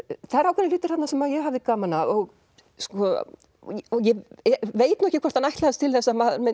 það eru ákveðnir hlutir þarna sem ég hafði gaman af ég veit ekki hvort hann ætlaðist til þess að